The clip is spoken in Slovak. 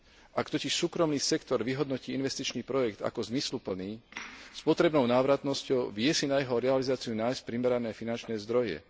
Ak totiž súkromný sektor vyhodnotí investičný projekt ako zmysluplný s potrebnou návratnosťou, vie si na jeho realizáciu nájsť primerané finančné zdroje.